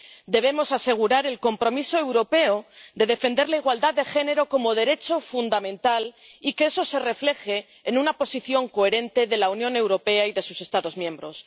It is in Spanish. Debemos asegurar el compromiso europeo de defender la igualdad de género como derecho fundamental y que eso se refleje en una posición coherente de la Unión Europea y de sus Estados miembros.